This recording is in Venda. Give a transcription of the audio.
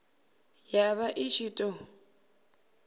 ya vha i ṱshi ḓo